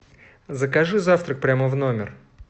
закажи завтрак прямо в номер